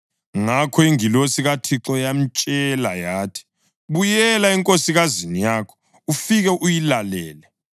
Ngakho ingilosi kaThixo yamtshela yathi, “Buyela enkosikazini yakho ufike uyilalele.”